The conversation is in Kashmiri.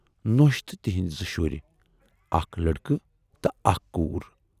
نۅش تہٕ تِہٕندۍ زٕ شُرۍ، اکھ لڑکہٕ تہٕ اکھ کوٗر۔